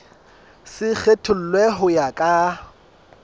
se kgethollwe ho ya ka